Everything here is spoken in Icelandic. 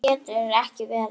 Nei, það getur ekki verið.